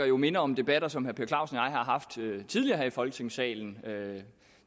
jo minder om debatter som herre per clausen og jeg har haft tidligere her i folketingssalen